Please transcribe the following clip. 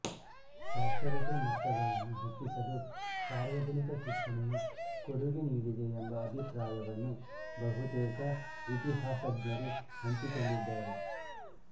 ಸಾಕ್ಷರತೆ ಮಟ್ಟಗಳನ್ನು ಹೆಚ್ಚಿಸಲು ಸಾರ್ವಜನಿಕ ಶಿಕ್ಷಣವು ಕೊಡುಗೆ ನೀಡಿದೆ ಎಂಬ ಅಭಿಪ್ರಾಯವನ್ನು ಬಹುತೇಕ ಇತಿಹಾಸಜ್ಞರು ಹಂಚಿಕೊಂಡಿದ್ದಾರೆ